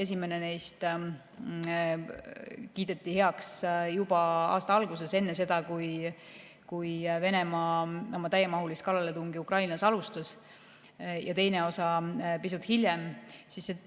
Esimene neist kiideti heaks juba aasta alguses, enne seda, kui Venemaa oma täiemahulist kallaletungi Ukrainale alustas, teine osa pisut hiljem.